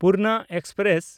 Purna express